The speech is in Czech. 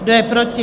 Kdo je proti?